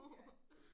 Ja